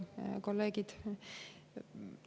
Head kolleegid!